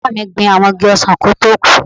Bàbáa bàbá mi gbin àwọn igi ọsàn kí ó tó kú